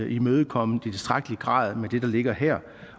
imødekommet i tilstrækkelig grad med det der ligger her